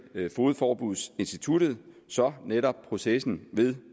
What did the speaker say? fogedforbudsinstituttet så netop processen